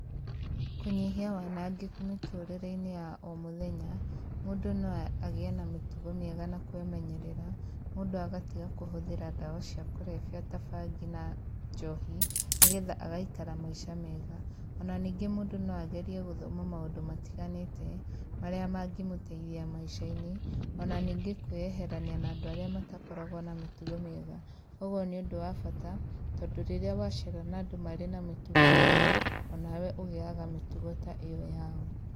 Kũnyihia wanangĩku mũtũrĩrĩinĩ ya omũthenya mũndũ no agiĩ na mĩtugo mĩega na kwĩmenyerera mũndũ agatiga kũhuthira ndawa cia kũrebia ta bhangi na njohi nĩgetha agaikara maisha mega ona ningĩ mũndũ noagerie gũthoma maũndũ matiganite maria mangĩmũteithia maishainĩ ona ningĩ kwĩeherania andũ arĩa matakoragwo na mĩtugo mĩega oho nĩũndũ wa bata tondu rĩrĩa wa cera marĩ na mĩtugo mĩũru onawe ũgĩaga mĩtugo ta ĩyo yao.